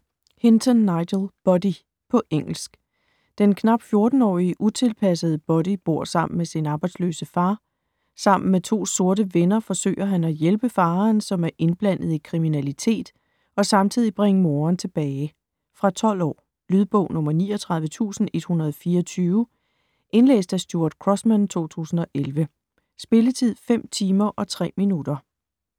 Hinton, Nigel: Buddy På engelsk. Den knap 14-årige, utilpassede Buddy bor sammen med sin arbejdsløse far. Sammen med to sorte venner forsøger han at hjælpe faderen, som er indblandet i kriminalitet, og samtidig bringe moderen tilbage. Fra 12 år. Lydbog 39124 Indlæst af Stuart Crossman, 2011. Spilletid: 5 timer, 3 minutter.